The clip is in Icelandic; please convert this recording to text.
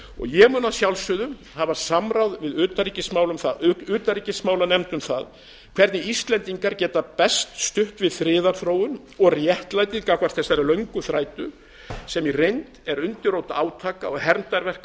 ég mun að sjálfsögðu hafa samráð við utanríkismálanefnd um það hvernig íslendingar geti best stutt við friðarþróun og réttlætið gagnvart þessari löngu þrætu sem í reynd er undirrót átaka og hermdarverka um